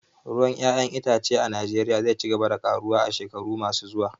Ruwan 'ya'yan itace a Najeriya zai ci gaba da karuwa a shekaru masu zuwa